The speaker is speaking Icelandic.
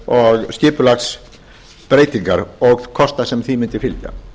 og skipulagsbreytingar og kostnað sem því mundi fylgja